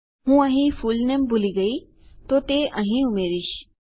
હું અહીં ફુલનેમ ભૂલી ગયી તો તે અહીં ઉમેરીશ